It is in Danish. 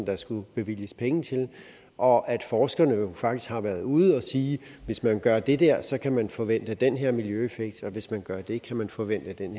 der skulle bevilges penge til og at forskerne jo faktisk har været ude at sige at hvis man gør det der kan man forvente den her miljøeffekt og at hvis man gør det der kan man forvente den